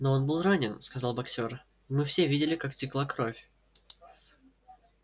но он был ранен сказал боксёр мы все видели как текла кровь